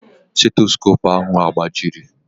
Stetoskopu ahụ agbajiri?